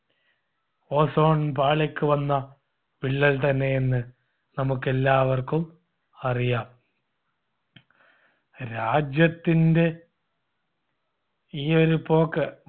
ozone പാളിക്ക് വന്ന വിള്ളൽ തന്നെയെന്ന് നമുക്കെല്ലാവർക്കും അറിയാം. രാജ്യത്തിൻടെ ഈ ഒരു പോക്ക്